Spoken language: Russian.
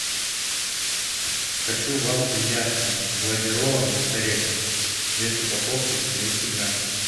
хочу вафли яшкино глазированные с орехами вес упаковки двести грамм